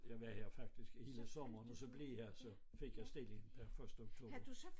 Jeg var her faktisk hele sommeren og så blev jeg så fik jeg stilling per første oktober